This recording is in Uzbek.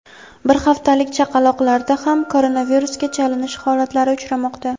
bir haftalik chaqaloqlarda ham koronavirusga chalinish holatlari uchramoqda.